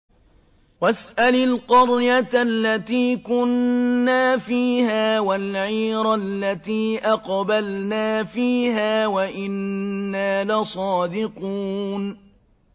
وَاسْأَلِ الْقَرْيَةَ الَّتِي كُنَّا فِيهَا وَالْعِيرَ الَّتِي أَقْبَلْنَا فِيهَا ۖ وَإِنَّا لَصَادِقُونَ